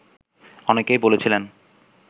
অনেকেই বলেছিলেন